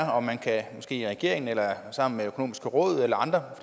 måske i regeringen eller sammen med det økonomiske råd eller andre